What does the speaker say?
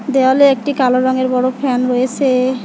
দেওয়ালে একটি কালো রঙের বড় ফ্যান রয়েসে।